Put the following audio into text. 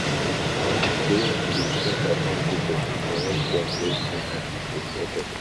i learn sey to dey check upon people dey make dem feel seen and appreciated.